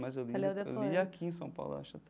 Mas eu li eu li aqui em São Paulo, eu acho, até.